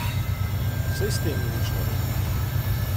Saj s tem ni nič narobe.